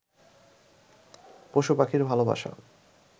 পশু-পাখির ভালোবাসা